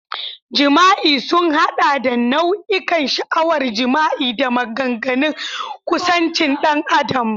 Jima'i sun haɗa da nau'ikan sha'awar jima'i da maganganun kusancin ɗan adam.